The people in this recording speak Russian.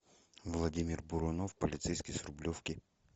владимир бурунов полицейский с рублевки